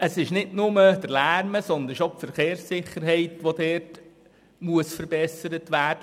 Neben dem Lärm muss dort auch die Verkehrssicherheit verbessert werden.